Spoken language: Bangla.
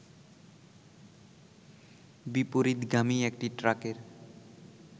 বিপরীতগামী একটি ট্রাকের